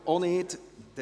– Auch nicht.